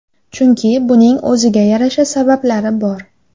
Chunki buning o‘ziga yarasha sabablari bor.